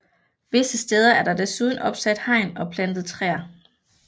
Visse steder er der desuden opsat hegn og plantet træer